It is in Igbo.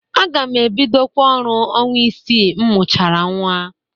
Aga m ebidokwa ọrụ ọnwa isii m mụchara nnwa.